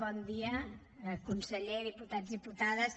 bon dia conseller diputats diputades